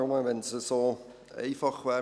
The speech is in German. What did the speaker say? Nur: Wenn es so einfach wäre.